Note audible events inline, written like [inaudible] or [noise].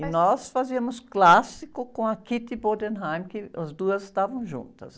E nós fazíamos clássico com a, [unintelligible] que as duas estavam juntas.